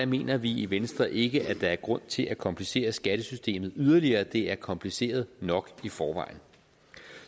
mener vi i venstre ikke at der er grund til at komplicere skattesystemet yderligere det er kompliceret nok i forvejen